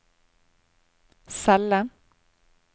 celle